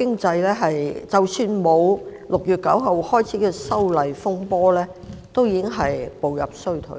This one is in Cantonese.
第一，即使沒有6月9日開始的"修例風波"，本港的經濟亦已步入衰退，